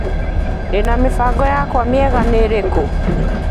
Ndĩna mĩbango yakwa ,mĩega nĩ ĩrĩkũ ?